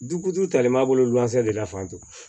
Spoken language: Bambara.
Jukutu talen b'a bolo wulafɛ de fan to